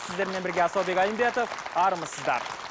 сіздермен бірге асаубек айымбетов армысыздар